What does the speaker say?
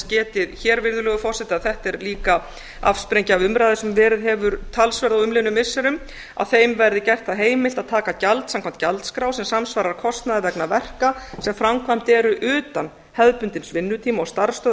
getið hér virðulegur forseti að þetta er líka afsprengi af umræðu sem verið hefur talsverð á umliðnum missirum að þeim verði gert það heimilt að taka gjald samkvæmt gjaldskrá sem samsvarar kostnaði vegna verka sem framkvæmd eru utan hefðbundins vinnutíma og starfsstöðva